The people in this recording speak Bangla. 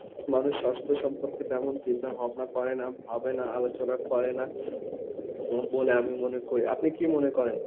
মানুষ স্বাস্থ্য সম্পর্কে তেমন চিন্তা ভাবনা করে না, ভাবে না, আলোচনা করে না, বলে আমি মনে করি। আপনি কি মনে করেন?